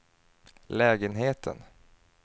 lägenheten